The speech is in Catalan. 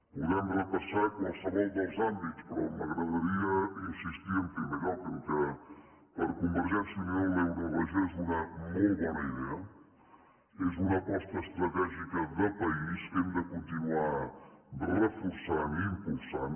podem repassar qualsevol dels àmbits però m’agradaria insistir en primer lloc que per convergència i unió l’euroregió és una molt bona idea és una aposta estratègica de país que hem de continuar reforçant i impulsant